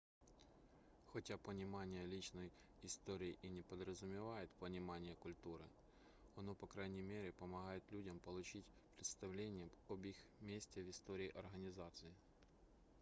хотя понимание личной истории и не подразумевает понимание культуры оно по крайней мере помогает людям получить представление об их месте в истории организации